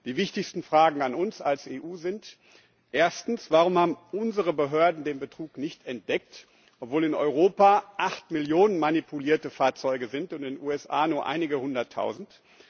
Die wichtigsten Fragen an uns als EU sind Erstens Warum haben unsere Behörden den Betrug nicht entdeckt, obwohl in Europa acht Millionen manipulierte Fahrzeuge sind, in den USA nur einige hunderttausend?